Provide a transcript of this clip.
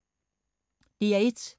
DR1